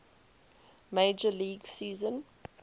major league season